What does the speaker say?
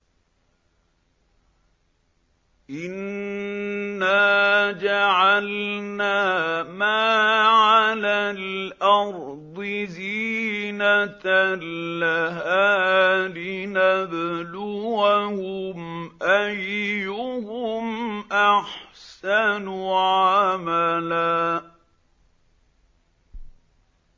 إِنَّا جَعَلْنَا مَا عَلَى الْأَرْضِ زِينَةً لَّهَا لِنَبْلُوَهُمْ أَيُّهُمْ أَحْسَنُ عَمَلًا